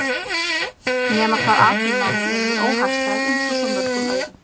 . nema hvað atvinnumálin eru mér óhagstæð einsog svo mörgum öðrum